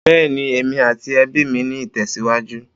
Bẹ́ẹ́ni, èmi àti ẹbí mi ń ìtẹ̀síwájú.